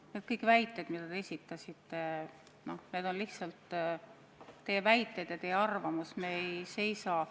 Need väited, mis te esitasite, on lihtsalt teie väited ja teie arvamus.